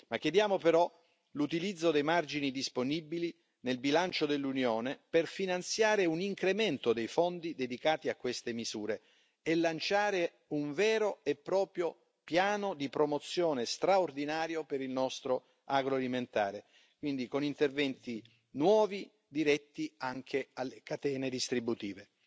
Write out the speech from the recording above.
Chiediamo però l'utilizzo dei margini disponibili nel bilancio dell'Unione per finanziare un incremento dei fondi dedicati a queste misure e lanciare un vero e proprio piano di promozione straordinario per il nostro agroalimentare, quindi con interventi nuovi diretti anche alle catene distributive.